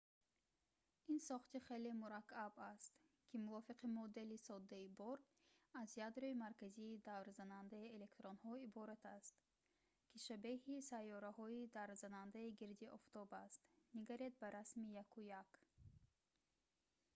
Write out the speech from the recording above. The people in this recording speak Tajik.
ин сохти хеле мураккаб аст ки мувофиқи модели соддаи бор аз ядрои марказии даврзанандаи электронҳо иборат аст ки шабеҳи сайёраҳои даврзанандаи гирди офтоб аст ниг ба расми 1.1